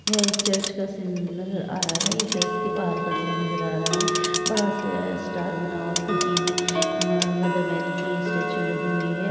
यह एक चर्च का सीन नजर आ रहा है| ये चर्च बाहर का सीन नजर आ रहा है| बड़ा-सा स्टार बना हुआ खिड़की में म- मदर मेरी की स्टेचू लगी हुई है।